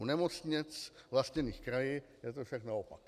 U nemocnic vlastněných kraji je to však naopak.